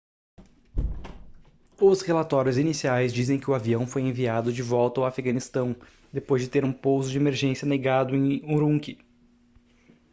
os relatórios iniciais dizem que o avião foi enviado de volta ao afeganistão depois de ter um pouso de emergência negado em urumqi